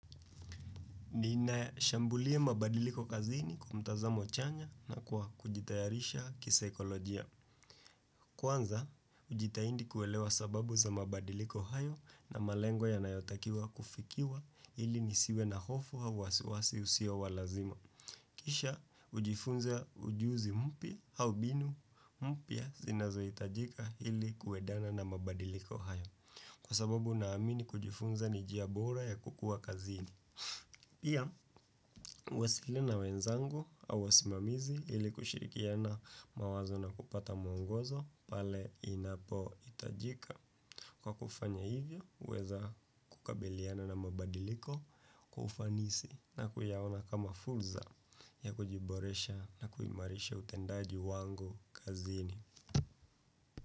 Ninashambulia mabadiliko kazini kwa mtazamo chanya na kwa kujitayarisha kisaikolojia. Kwanza, ujitahidi kuelewa sababu za mabadiliko hayo na malengo ya nayotakiwa kufikiwa ili nisiwe na hofu au wasiwasi usio wa lazima. Kisha, ujifunza ujuzi mpya au mbinu mpya zinozohitajika ili kuendana na mabadiliko hayo. Kwa sababu naamini kujifunza ni njia bora ya kukua kazini. Pia, huwasilina na wenzangu au wasimamizi ili kushirikiana mawazo na kupata mwongozo pale inapo hitajika. Kwa kufanya hivyo, huweza kukabiliana na mabadiliko kwa ufanisi na kuyaona kama fursa ya kujiboresha na kuimarisha utendaji wangu kazini.